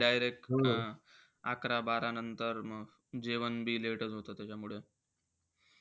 Direct अं अकरा-बारा नंतर म जेवण बी late चं होतं म त्याच्यामुळे.